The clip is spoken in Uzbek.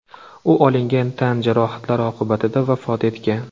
U olingan tan jarohatlari oqibatida vafot etgan.